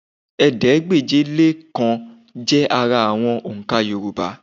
Ẹ̀ẹ́dégbèje-lé-kan jẹ́ ara àwọn òǹkà Yorùbá